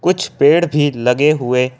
कुछ पेड़ भी लगे हुए--